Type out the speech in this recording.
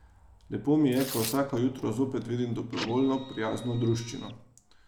Lepo mi je, ko vsako jutro zopet vidim dobrovoljno, prijazno druščino.